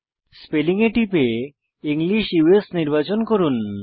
spelling এ টিপে English উস নির্বাচন করুন